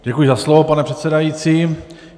Děkuji za slovo, pane předsedající.